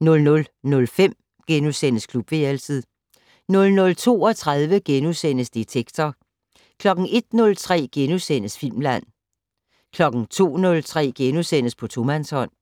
00:05: Klubværelset * 00:32: Detektor * 01:03: Filmland * 02:03: På tomandshånd *